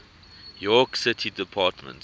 york city department